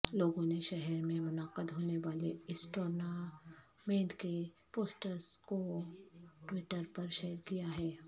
لوگوں نے شہر میں منعقد ہونے والے اس ٹورنمنٹ کے پوسٹرس کوٹوئٹرپرشیئر کیاہے